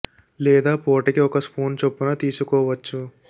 లేదా పూటకి ఒక స్పూన్ చొప్పున తీసుకోవచ్చు